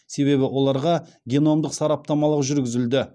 себебі оларға геномдық сараптамалық жүргізілді